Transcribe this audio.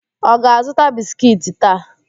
Ọ ga-azụta biskiiti taa?